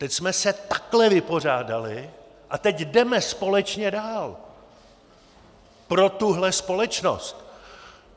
Teď jsme se takhle vypořádali a teď jdeme společně dál pro tuhle společnost.